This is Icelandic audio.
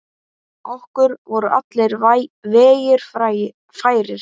Okkur voru allir vegir færir.